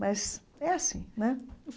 Mas é assim, né?